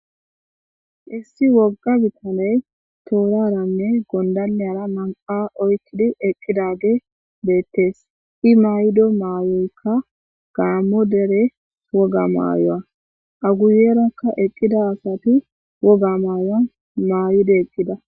Issi wogga bithanee thooraaranne gonddalliyara naa7aa oykkidi eqqidaagee beeththees;i maayido maayoykka gaammo dere wogaa maayuwaa;a guyyeerakka eqqida asathi wogaa maayuwaa maayide eqqida.